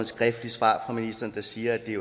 skriftligt svar fra ministeren der siger at det